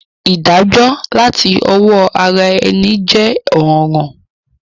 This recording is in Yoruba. Ìdájó làti owó ara eni je òràn